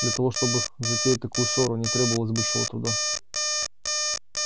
для того чтобы затеять такую ссору не требовалось большого труда